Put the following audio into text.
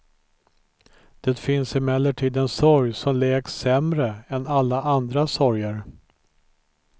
Det finns emellertid en sorg som läks sämre än alla andra sorger.